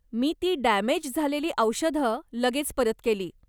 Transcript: मी ती डॅमेज झालेली औषधं लगेच परत केली.